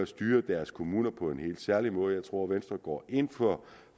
styre deres kommuner på en helt særlig måde jeg tror at venstre går ind for